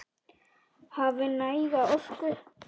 Hafi næga orku.